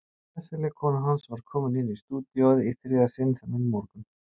Sesselja kona hans var kominn inn í stúdíóið í þriðja sinn þennan morgun.